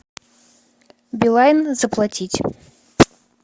билайн заплатить